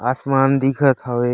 आसमान दिखत हवे।